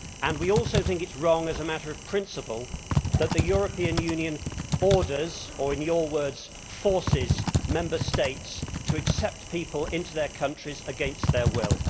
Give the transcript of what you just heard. We also think it is wrong, as a matter of principle, that the European Union orders or, in your words, forces Member States to accept people into their countries against their will.